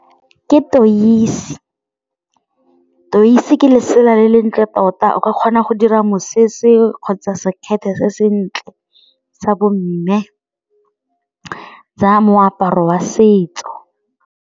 Ke 'toisi, 'toisi ke lesela le le ntle tota o ka kgona go dira mosese kgotsa sekgethe se sentle sa bomme sa moaparo wa setso.